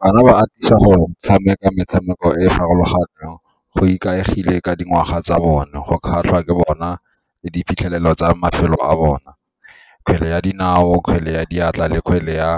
Bana ba atisa go tshameka metshameko e e farologaneng go ikaegile ka dingwaga tsa bone go kgatlha ke bona le diphitlhelelo tsa mafelo a bona, kgwele ya dinao, kgwele ya diatla le kgwele ya .